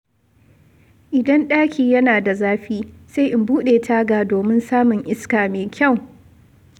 Idan ɗaki yana da zafi, sai in buɗe taga domin samun iska mai kyau.